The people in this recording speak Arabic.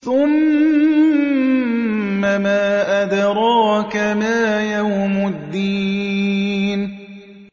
ثُمَّ مَا أَدْرَاكَ مَا يَوْمُ الدِّينِ